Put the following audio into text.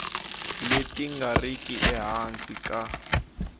leti nga riki ehansi ka